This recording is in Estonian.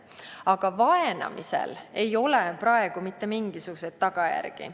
Aga vaenamisel ei ole praegu mitte mingisuguseid tagajärgi.